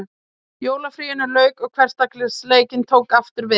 Jólafríinu lauk og hversdagsleikinn tók aftur við.